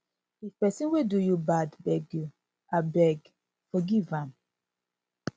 if pesin wey do you bad beg you abeg forgive am